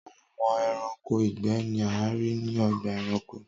Awọn ẹranko igbẹ ni a rii ni ọgba ẹranko.